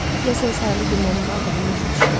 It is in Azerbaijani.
Deyəsən saylı günlərin qaldığını başa düşürdü.